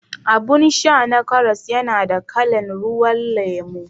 Abun sha na karas yana da kalan ruwan lemo